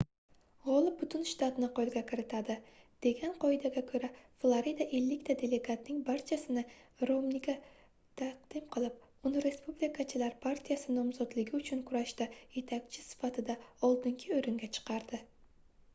gʻolib butun shtatni qoʻlga kiritadi degan qoidaga koʻra florida ellikta delegatning barchasini romniga taqdim qilib uni respublikachilar partiyasi nomzodligi uchun kurashda yetakchi sifatida oldingi oʻringa chiqardi